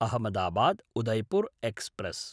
Ahmedabad-Udaipur express